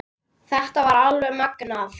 Þetta var alveg magnað!